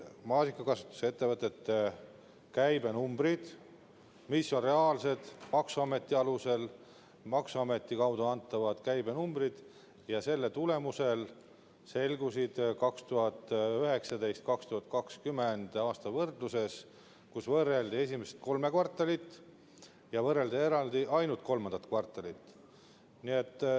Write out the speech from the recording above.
Maasikakasvatuse ettevõtete käibenumbrid, mis on reaalsed, maksuameti kaudu antavad käibenumbrid, selgusid 2019. ja 2020. aasta võrdluses, kus võrreldi esimest kolme kvartalit ja võrreldi eraldi ainult kolmandat kvartalit.